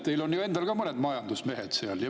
Teil on ju endal ka mõned majandusmehed seal.